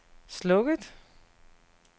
slukket